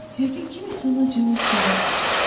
Yəqin kimsə ona cavab vermişdi.